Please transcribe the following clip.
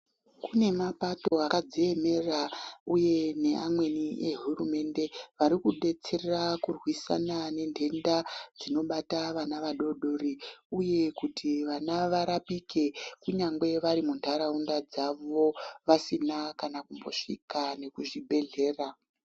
Kune mapato akadziemera uye neamweni ehurumende vari kudetsera kurwisana nentenda dzinobata vana vadori dori uye kuti vana varapike kunyangwe vari muntaraunda dzavo vasina kana kumbosvika nekuzvibhedhlera.